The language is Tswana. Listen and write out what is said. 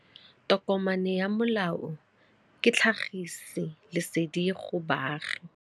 Tokomane ya molao ke tlhagisi lesedi go baagi.